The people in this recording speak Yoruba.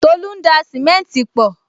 Tolu ń da simenti pọ